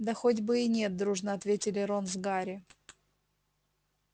да хоть бы и нет дружно ответили рон с гарри